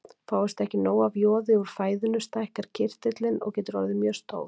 Fáist ekki nóg af joði úr fæðinu stækkar kirtillinn og getur orðið mjög stór.